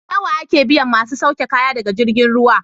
Nawa ake biyan masu sauke kaya daga jirgin ruwa?